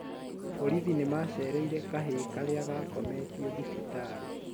Borithi nĩ macereire kahĩ karia gakometio thibitarĩ